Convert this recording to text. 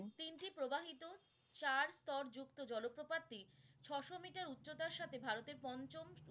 তিনটি প্রবাহিত চার স্তর যুক্ত জলপ্রপাতই ছশো মিটার উচ্চতার সাথে ভারতের পঞ্চম